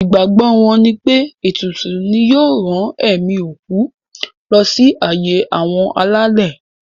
Ìgbàgbọ wọn nipé ètùtù yìí ni yóò rán ẹ̀mí òkú lọ sí ààyè àwọn alálẹ̀.